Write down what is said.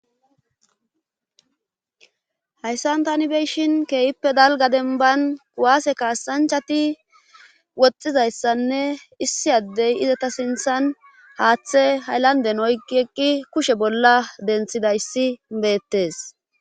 Hayssan tani beyshin keeyippe dalga denban waase kaassanchati woxxizayssanne issi addey izata sinthan haaththe hayllanden oykki eqqi kushe bolla denthidayssi beettes